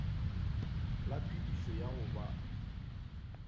la phedišo ya go ba